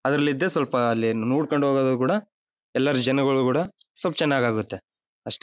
ಅದರಲ್ಲಿ ಇದ್ದೆ ಸ್ವಲ್ಪ ಅಲ್ಲಿ ನೋಡ್ಕೊಂಡು ಹೋಗೋದು ಕೂಡ ಎಲ್ಲರು ಜನಗಳು ಕೂಡ ಸ್ವಲ್ಪ್ ಚೆನ್ನಾಗಿ ಆಗುತ್ತೆ ಅಷ್ಟೆ .